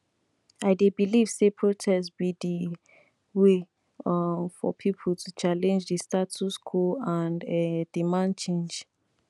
i dey believe say protest be di way um for people to challenge di status quo and um demand change